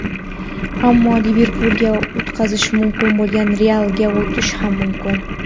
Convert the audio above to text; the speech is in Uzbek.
ammo "Liverpul"ga yutqazishi mumkin bo‘lgan "Real"ga o‘tishi ham mumkin.